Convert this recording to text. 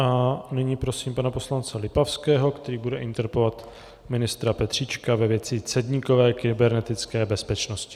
A nyní prosím pana poslance Lipavského, který bude interpelovat ministra Petříčka ve věci cedníkové kybernetické bezpečnosti.